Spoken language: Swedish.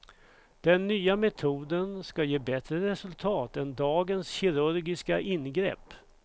Den nya metoden ska ge bättre resultat än dagens kirurgiska ingrepp.